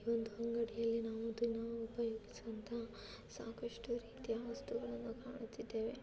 ಈ ಒಂದು ಅಂಗಡಿಯಲ್ಲಿ ನಾವು ದಿನಾ ಉಪಯೋಗಿಸುವಂತಹ ಸಾಕಷ್ಟು ರೀತಿಯ ವಸ್ತುಗಳನ್ನು ಕಾಣುತ್ತಿದ್ದೇವೆ.